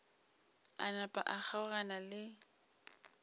a napa a kgaogana le